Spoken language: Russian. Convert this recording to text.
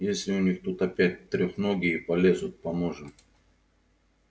если у них тут опять трёхногие полезут поможем